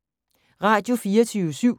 Radio24syv